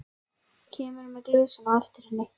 Kemur með glösin á eftir henni.